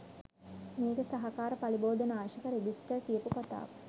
මේකේ සහකාර පලිබෝධනාශක රෙජිස්ටර් කියපු කතාව.